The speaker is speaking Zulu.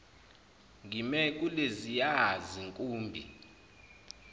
ngime kuleziya zinkumbi